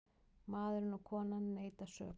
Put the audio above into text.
Maðurinn og konan neita sök.